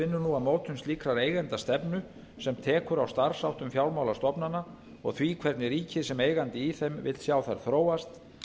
vinnur nú að mótun slíkrar eigendastefnu sem tekur á starfsháttum fjármálastofnana og því hvernig ríkið sem eigandi í þeim vill sjá þær þróast